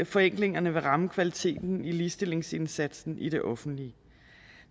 forenklingerne vil ramme kvaliteten i ligestillingsindsatsen i det offentlige